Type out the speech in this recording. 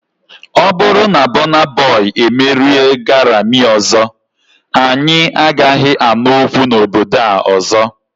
Ọ bụrụ na Bona boi emerie Garami ọzọ, anyị agaghị anụ okwu na obodo a ọzọ.